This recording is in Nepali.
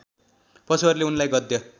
पशुहरूले उनलाई गद्य